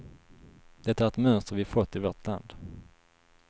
Det är ett mönster vi fått i vårt land.